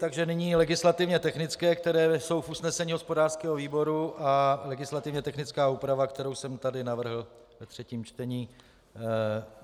Takže nyní legislativně technické, které jsou v usnesení hospodářského výboru, a legislativně technická úprava, kterou jsem tady navrhl ve třetím čtení.